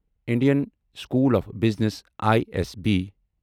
Indian School of Business I S B